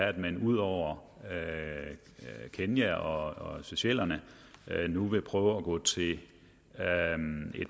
at man ud over kenya og seychellerne nu vil prøve at gå til et